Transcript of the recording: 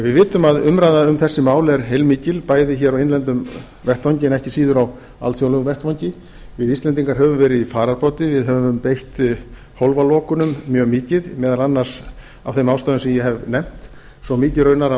við vitum að umræða um þessi mál er heilmikil bæði hér á innlendum vettvangi en ekki síður á alþjóðlegum vettvangi við íslendingar höfum verið í fararbroddi við höfum beitt hólfalokunum mjög mikið meðal annars af þeim ástæðum sem ég hef nefnt svo mikið raunar að